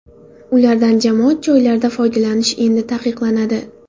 Ulardan jamoat joylarida foydalanish endi taqiqlanadi.